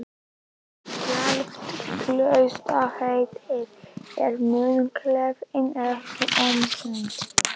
Sjálft klausturheitið er munklífinu ekki ómissandi.